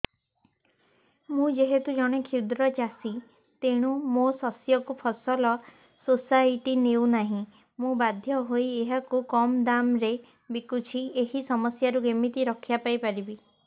ମୁଁ ଯେହେତୁ ଜଣେ କ୍ଷୁଦ୍ର ଚାଷୀ ତେଣୁ ମୋ ଶସ୍ୟକୁ ଫସଲ ସୋସାଇଟି ନେଉ ନାହିଁ ମୁ ବାଧ୍ୟ ହୋଇ ଏହାକୁ କମ୍ ଦାମ୍ ରେ ବିକୁଛି ଏହି ସମସ୍ୟାରୁ କେମିତି ରକ୍ଷାପାଇ ପାରିବି